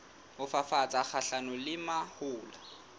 ho fafatsa kgahlanong le mahola